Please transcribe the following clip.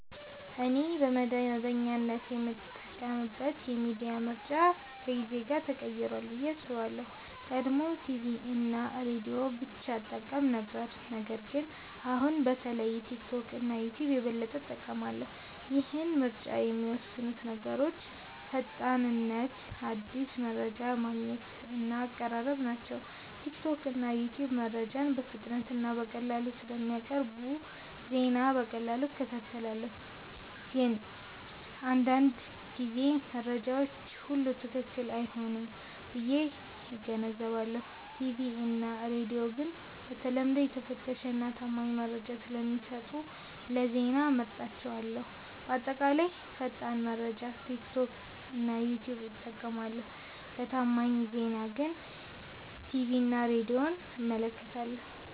እኔ በመደበኛነት የምጠቀምበት የሚዲያ ምርጫ ከጊዜ ጋር ተቀይሯል ብዬ አስባለሁ። ቀድሞ ቲቪ እና ሬዲዮ ብቻ እጠቀም ነበር ነገር ግን አሁን በተለይ ቲክቶክ እና ዩትዩብ የበለጠ እጠቀማለሁ። ይህን ምርጫ የሚወስኑት ነገሮች ፈጣንነት አዲስ መረጃ ማግኘት እና አቀራረብ ናቸው። ቲክቶክ እና ዩትዩብ መረጃን በፍጥነት እና በቀላሉ ስለሚያቀርቡ ዜና በቀላሉ እከታተላለሁ። ግን አንዳንድ ጊዜ መረጃው ሁሉ ትክክል አይሆንም ብዬ እገነዘባለሁ። ቲቪ እና ሬዲዮ ግን በተለምዶ የተፈተሸ እና ታማኝ መረጃ ስለሚሰጡ ለዜና እመርጣቸዋለሁ። በአጠቃላይ ለፈጣን መረጃ ቲክቶክ እና ዩትዩብ እጠቀማለሁ ለታማኝ ዜና ግን ቲቪ እና ሬዲዮን እመለከታለሁ።